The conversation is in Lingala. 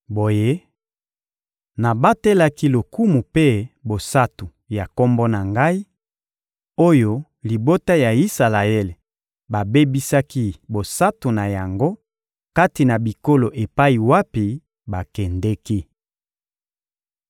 Boye, nabatelaki lokumu mpe bosantu ya Kombo na Ngai, oyo libota ya Isalaele babebisaki bosantu na yango kati na bikolo epai wapi bakendeki.